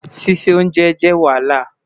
Sise onjè jẹ Wahala